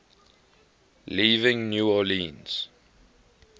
leaving new orleans